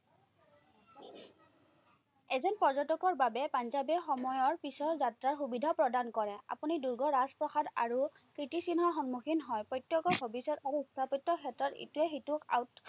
এজন পৰ্যটকৰ বাবে পাঞ্জাৱে সময়ৰ পিচৰ যাত্ৰাৰ সুবিধা প্ৰদান কৰে। আপুনি দূৰ্গ, ৰাজপ্ৰসাদ আৰু কীৰ্তিচিহ্নৰ সন্মুখীন হয়। প্ৰত্যেকৰ ভৱিষ্যতসমূহ উত্থাপিত ক্ষেত্ৰত ইটোৱে সিটোক